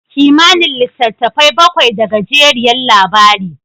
Kimanin litattafai bakwai da gajeriyar labari.